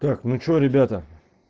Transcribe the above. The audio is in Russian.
так ну что ребята